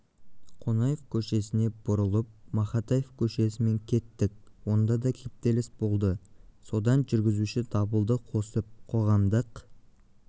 қонаев көшесіне бұрылып мақатаев көшесімен кеттік онда да кептеліс болды содан жүргізуші дабылды қосып қоғамдық